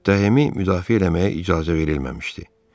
Müttəhimi müdafiə eləməyə icazə verilməmişdi.